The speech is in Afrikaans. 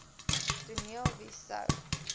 toneel wie sou